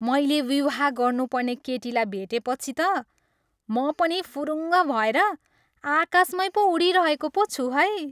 मैले विवाह गर्नुपर्ने केटीलाई भेटेपछि त म पनि फुरुङ्ग भएर आकाशमैँ पो उडिरहेको पो छु है।